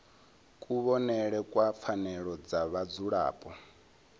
kuvhonele kwa pfanelo dza vhadzulapo